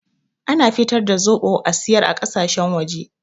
Ana fitar da zoɓo a siyar a ƙasashen waje